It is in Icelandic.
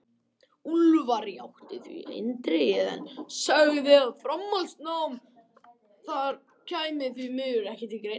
Úlfar játti því eindregið, en sagði að framhaldsnám þar kæmi því miður ekki til greina.